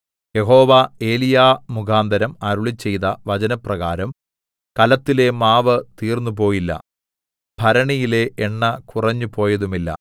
യഹോവ ഏലീയാമുഖാന്തരം അരുളിച്ചെയ്ത വചനപ്രകാരം കലത്തിലെ മാവ് തീർന്നുപോയില്ല ഭരണിയിലെ എണ്ണ കുറഞ്ഞുപോയതുമില്ല